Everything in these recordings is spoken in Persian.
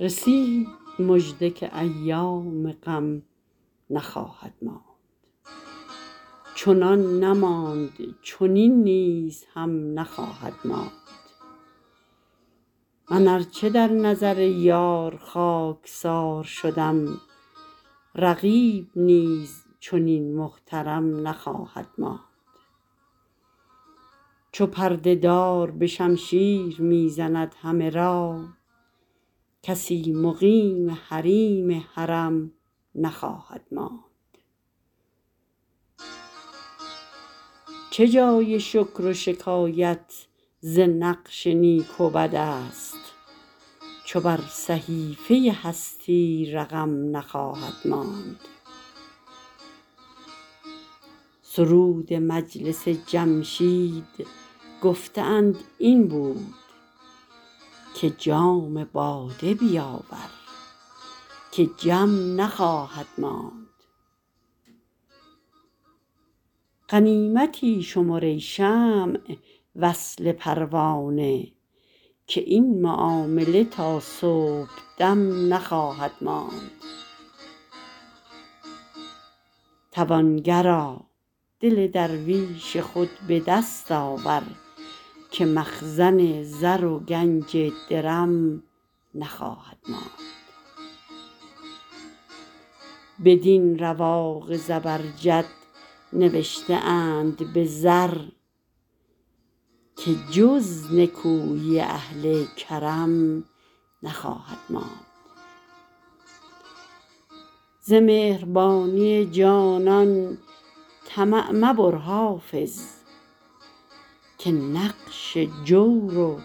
رسید مژده که ایام غم نخواهد ماند چنان نماند چنین نیز هم نخواهد ماند من ار چه در نظر یار خاک سار شدم رقیب نیز چنین محترم نخواهد ماند چو پرده دار به شمشیر می زند همه را کسی مقیم حریم حرم نخواهد ماند چه جای شکر و شکایت ز نقش نیک و بد است چو بر صحیفه هستی رقم نخواهد ماند سرود مجلس جمشید گفته اند این بود که جام باده بیاور که جم نخواهد ماند غنیمتی شمر ای شمع وصل پروانه که این معامله تا صبح دم نخواهد ماند توانگرا دل درویش خود به دست آور که مخزن زر و گنج درم نخواهد ماند بدین رواق زبرجد نوشته اند به زر که جز نکویی اهل کرم نخواهد ماند ز مهربانی جانان طمع مبر حافظ که نقش جور و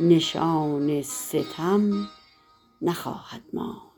نشان ستم نخواهد ماند